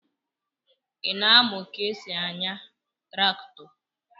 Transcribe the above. Ị na-amụ ka esi ányà traktọ?